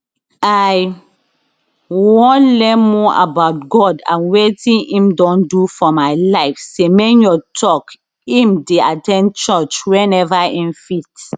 i wan learn more about god and wetin im don do for my life semenyo tok im dey at ten d church whenever im fit